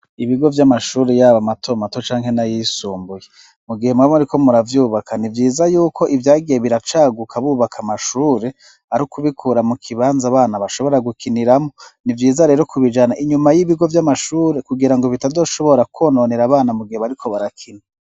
Ibigo vy'amashuri y'aba mato mato canke n'ayisumbuye mu gihe mubi mari ko muravyubaka ni vyiza y'uko ibyagiye biracaguka bubaka amashure ariikubikura mu kibanza bana bashobora gukiniramo nibyiza rero kubijana inyuma y'ibigo by'amashuri kugira ngo bitadoshobora kononera abana mu gihe bariko barakina.